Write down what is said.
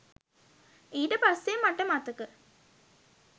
ඊට පස්සේ මට මතක